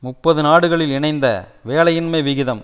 முப்பது நாடுகளில் இணைந்த வேலையின்மை விகிதம்